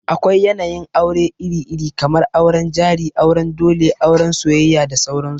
Akwai yanayin aure iri-iri, kamar auren jari, auren dole, auran soyayya da sauran su.